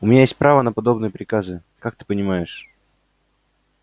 у меня есть право на подобные приказы как ты понимаешь